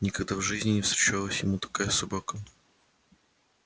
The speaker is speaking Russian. никогда в жизни не встречалась ему такая собака